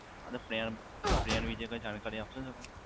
અને plan વિશે કઈ જાણકારી આપશો તમે?